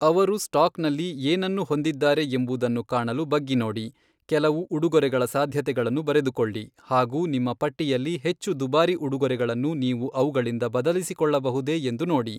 ಅವರು ಸ್ಟಾಕ್ನಲ್ಲಿ ಏನನ್ನು ಹೊಂದಿದ್ದಾರೆ ಎಂಬುದನ್ನು ಕಾಣಲು ಬಗ್ಗಿನೋಡಿ, ಕೆಲವು ಉಡುಗೊರೆಗಳ ಸಾಧ್ಯತೆಗಳನ್ನು ಬರೆದುಕೊಳ್ಳಿ ಹಾಗು ನಿಮ್ಮ ಪಟ್ಟಿಯಲ್ಲಿ ಹೆಚ್ಚು ದುಬಾರಿ ಉಡುಗೊರೆಗಳನ್ನು ನೀವು ಅವುಗಳಿಂದ ಬದಲಿಸಿಕೊಳ್ಳಬಹುದೇ ಎಂದು ನೋಡಿ.